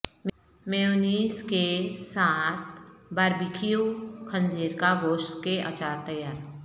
mayonnaise کے ساتھ barbecue خنزیر کا گوشت کے اچار تیار